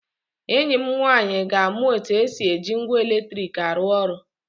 Enyi m nwaanyị ga-amụ otu esi eji ngwa eletrik arụ ọrụ